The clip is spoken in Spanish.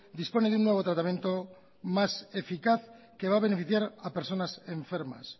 dispone de un nuevo tratamiento más eficaz que va a beneficiar a personas enfermas